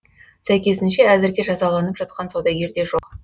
сәйкесінше әзірге жазаланып жатқан саудагер де жоқ